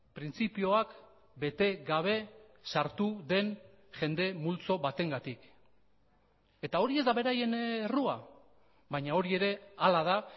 printzipioak bete gabe sartu den jende multzo batengatik eta hori ez da beraien errua baina hori ere hala da